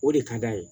O de ka d'a ye